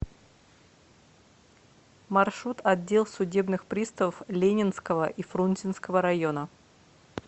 маршрут отдел судебных приставов ленинского и фрунзенского района